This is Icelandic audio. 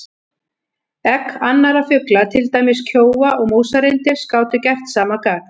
Egg annarra fugla, til dæmis kjóa og músarrindils, gátu gert sama gagn.